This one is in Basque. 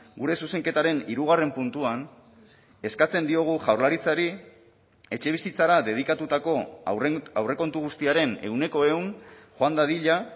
gure zuzenketaren hirugarren puntuan eskatzen diogu jaurlaritzari etxebizitzara dedikatutako aurrekontu guztiaren ehuneko ehun joan dadila